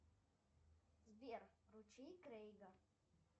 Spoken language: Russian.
сбер ручей крейга